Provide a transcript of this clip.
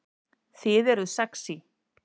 Þið eruð sexý